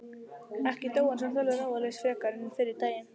Ekki dó hann samt alveg ráðalaus frekar en fyrri daginn.